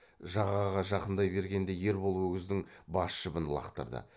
жағаға жақындай бергенде ербол өгіздің бас жібін лақтырды